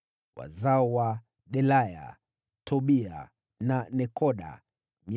wazao wa Delaya, Tobia na Nekoda 652